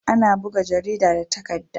Ana buga jarida da takadda